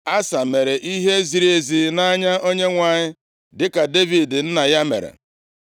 Asa mere ihe ziri ezi nʼanya Onyenwe anyị dịka Devid nna ya mere. + 15:11 \+xt 2Ih 14:2; 1Ez 9:4; 14:8\+xt*